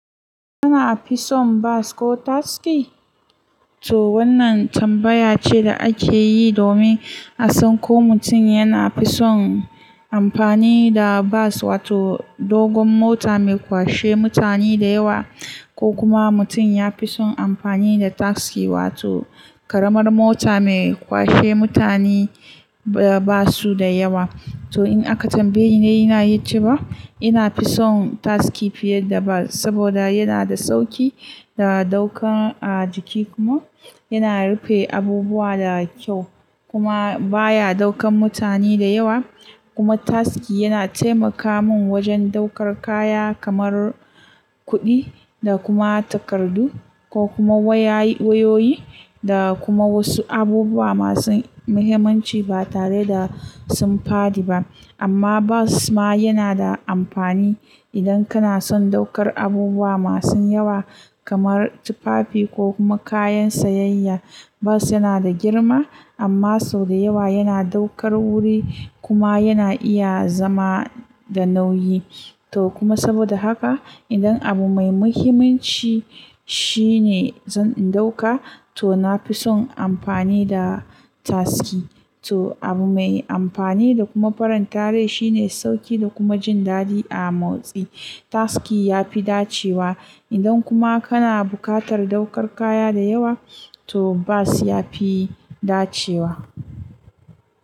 Kuna fisun bas ko taski? To wannan tambaya ce da ake yi domin a san ko mutum yana fisun amfani da bas, wato dogon mota mai kwashe mutane da yawa, ko kuma mutum ya fisun amfani da taski wato ƙaramar mota mai kwashe mutane ba su da yawa. To in aka tambaye ni, ina yi cewa ina fisun taski fiye da bas saboda yana da sauki da ɗauka a jiki kuma yana rufe abubuwa da kyau kuma baya ɗaukar mutane da yawa. Kuma taski yana taimaka mun wajen ɗaukar kaya kamar kuɗi da kuma takardu ko kuma wayoyi da kuma wasu abubuwa masu muhimmanci ba tare da sun faɗi ba. Amma bas ma yana da amfani idan kana son ɗaukar abubuwa masu yawa kamar tufafi ko kuma kayan sayayya. Bas yana da girma amma sau da yawa yana ɗaukar wuri kuma yana iya zama da nauyi. To kuma saboda haka idan abu mai muhimmanci shine zan ɗauka to na fisun amfani da taski. To abu mai amfani da kuma faran ta rai shine sauki da kuma jin daɗi a motsi. Taski ya fi dacewa idan kuma kana bukatar ɗaukar kaya da yawa to bas ya fi dacewa.